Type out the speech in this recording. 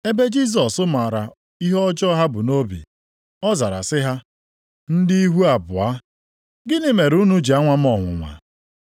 Ebe Jisọs maara ihe ọjọọ ha bu nʼobi, ọ zara sị ha, “Ndị ihu abụọ! Gịnị mere unu ji anwa m ọnwụnwa?